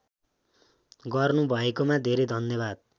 गर्नुभएकोमा धेरै धन्यवाद